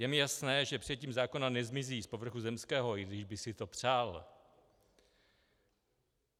Je mi jasné, že přijetím zákona nezmizí z povrchu zemského, i když bych si to přál.